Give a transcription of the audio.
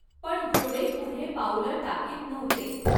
पण घोडे पुढे पाऊलं टाकीत नव्हते.